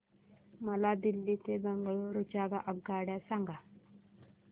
मला दिल्ली ते बंगळूरू च्या आगगाडया सांगा